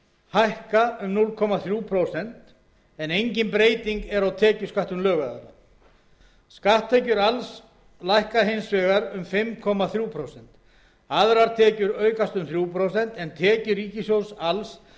hækka um núll komma þrjú prósent en engin breyting er á tekjusköttum lögaðila skatttekjur alls lækka hins vegar um fimm komma þrjú prósent aðrar tekjur aukast um þrjú prósent en tekjur ríkissjóðs alls